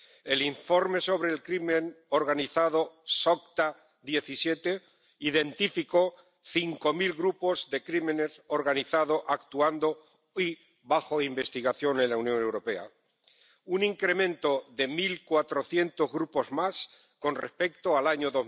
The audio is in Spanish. El informe sobre el crimen organizado SOCTA 2017 identificó cinco mil grupos de crimen organizado actuando y bajo investigación en la Unión Europea, un incremento de mil cuatrocientos grupos más con respecto al año